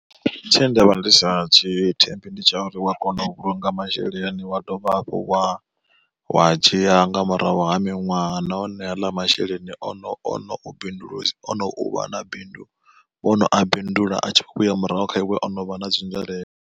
Tshe ndavha ndi sa tshi thembi ndi tsha uri wa kona u vhulunga masheleni wa dovha hafhu wa wa a dzhia nga murahu ha miṅwaha, nahone haḽa masheleni ono ono bindulisa ono uvha na bindu wono a bindula a tshi kho vhuya murahu kha iwe o no vha na dzi nzwalelo.